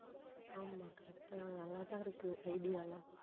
ஆமாம் correct ஆ அழகா இருக்கு idea எல்லாம்